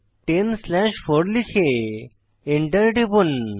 10 slash 4 লিখে enter টিপুন